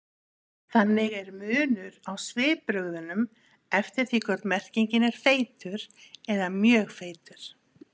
Þannig er munur á svipbrigðunum eftir því hvort merkingin er feitur eða mjög feitur.